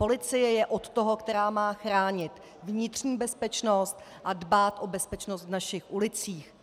Policie je od toho, která má chránit vnitřní bezpečnost a dbát o bezpečnost v našich ulicích.